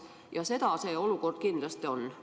Ja seda see olukord kindlasti pakub.